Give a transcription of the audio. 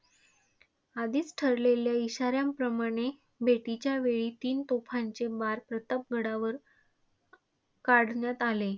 आधीच ठरलेल्या इशाऱ्यांप्रमाणे, भेटीच्यावेळी तीन तोफांचे बार प्रतापगडावर काढण्यात आले.